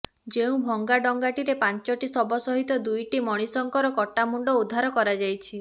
ଯେଉଁ ଭଙ୍ଗା ଡଙ୍ଗାଟିରେ ପାଞ୍ଚଟି ଶବ ସହିତ ଦୁଇଟି ମଣିଷଙ୍କର କଟା ମୁଣ୍ଡ ଉଦ୍ଧାର କରାଯାଇଛି